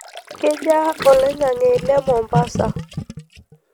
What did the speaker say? kejaa oloingange le mombasa